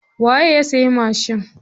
Waye ya siya mashin?